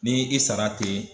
Ni i sara ten